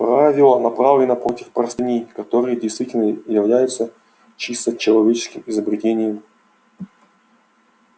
правило направлено против простыней которые действительно являются чисто человеческим изобретением